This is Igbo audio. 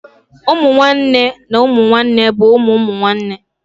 Ụmụ nwanne na ụmụ nwanne bụ ụmụ ụmụnne